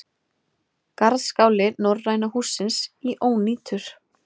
Garðskáli Norræna hússins í ónýtur